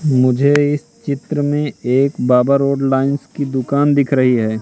मुझे इस चित्र में एक बाबा रोड लाइंस की दुकान दिख रही है।